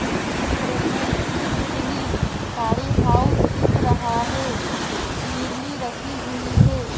इस चित्र में तितली साड़ी हाउस दिख रहा है जिरली रखी हुई है।